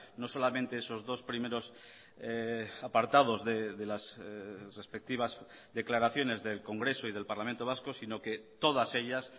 no solamente esos dos primeros apartados de las respectivas declaraciones del congreso y del parlamento vasco sino que todas ellas